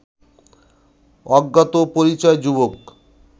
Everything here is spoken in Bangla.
অজ্ঞাত পরিচয় যুবক